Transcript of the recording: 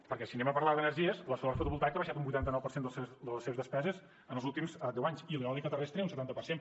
perquè si anem a parlar d’energies la solar fotovoltaica ha baixat un vuitanta nou les seves despeses els últims deu anys i l’eòlica terrestre un setanta per cent